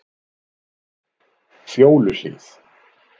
Fjóluhlíð